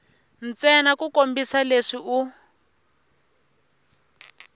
ntsena ku kombisa leswi u